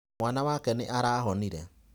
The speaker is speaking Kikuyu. Mwana wake nĩ arahonire.